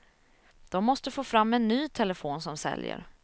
De måste få fram en ny telefon som säljer.